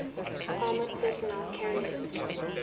armoured personnel carriers